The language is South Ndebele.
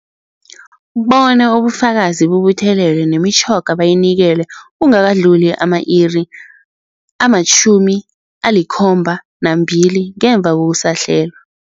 Bona ubufakazi bubuthelelwe, nemitjhoga bayinikelwe kungakadluli ama-iri ama-72 ngemva kokusahlelwa.